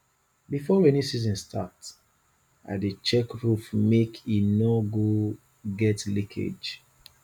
before rainy season start i dey check roof make e no get leakage